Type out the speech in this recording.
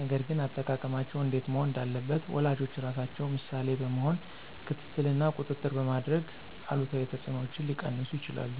ነገር ግን አጠቃቀማቸው እንዴት መሆን እንዳለበት ወላጆች ራሳቸው ምሳሌ በመሆን ክትትል እና ቁጥጥር በማድረግ አሉታዊ ተጽዕኖዎችን ሊቀንሱ ይችላሉ።